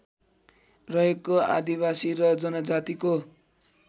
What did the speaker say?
रहेको आदिवासी र जनजातिको